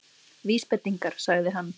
Vísbendingar- sagði hann.